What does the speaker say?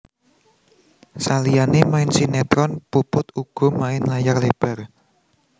Saliyané main sinetron Puput uga main layar lebar